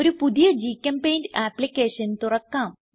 ഒരു പുതിയ ഗ്ചെമ്പെയിന്റ് ആപ്ലിക്കേഷൻ തുറക്കാം